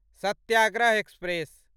Satyagraha express